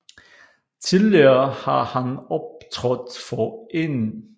Tidligere har han optrådt for 1